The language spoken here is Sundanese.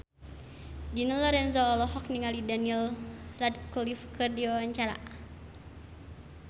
Dina Lorenza olohok ningali Daniel Radcliffe keur diwawancara